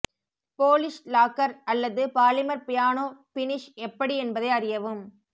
Polish lacquer அல்லது polymer piano finish எப்படி என்பதை அறியவும்